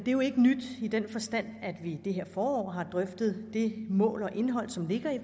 er jo ikke nyt i den forstand at vi i det her forår har drøftet det mål og indhold som ligger i